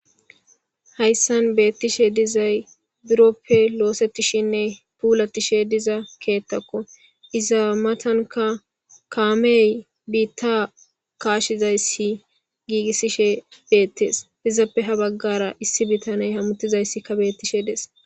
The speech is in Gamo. hayssan beettishe dizay biroppe loosetishinne puulattishe diza keettakko iza matanka kaamey biitta kaashizayssi giigissishe beettees izappe ha baggara issi bitaney hammutizayssikka beettishe dees